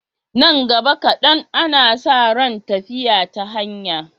Nan gaba kaɗan, ana sa ran tafiya ta hanya.